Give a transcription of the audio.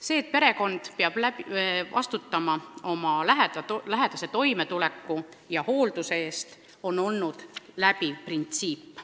See, et perekond peab vastutama oma lähedase toimetuleku ja hoolduse eest, on olnud läbiv printsiip.